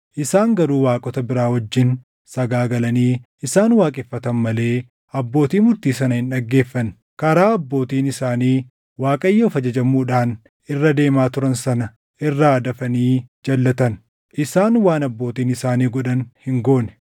Isaan garuu waaqota biraa wajjin sagaagalanii isaan waaqeffatan malee abbootii murtii sana hin dhaggeeffanne. Karaa abbootiin isaanii Waaqayyoof ajajamuudhaan irra deemaa turan sana irraa dafanii jalʼatan; isaan waan abbootiin isaanii godhan hin goone.